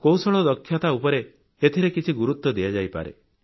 କୌଶଳ ଦକ୍ଷତା ଉପରେ ଏଥିରେ କିଛି ଗୁରୁତ୍ୱ ଦିଆଯାଇପାରେ